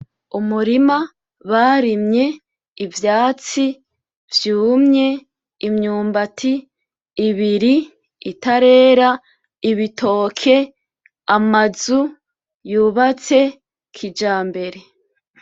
Umurima barimye ivyatsi vyumye imyumbati ibiri itarera, ibitoke , amazu yubatse kijambere.